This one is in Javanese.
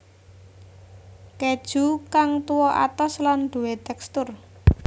Keju kang tuwa atos lan duwé tekstur